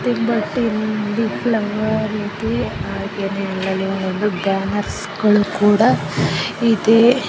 banners ಗಳ್ ಕೂಡ ಇದೆ --